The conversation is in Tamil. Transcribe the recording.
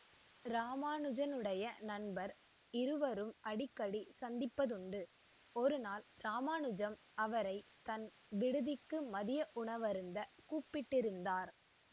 இராமானுஜனுடைய நண்பர் இருவரும் அடிக்கடி சந்திப்பதுண்டு ஒருநாள் இராமானுஜன் அவரை தன் விடுதிக்கு மதிய உணவருந்த கூப்பிட்டிருந்தார்